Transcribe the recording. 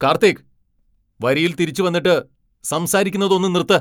കാർത്തിക്! വരിയിൽ തിരിച്ചുവന്നിട്ട് സംസാരിക്കുന്നത് ഒന്ന് നിർത്ത്.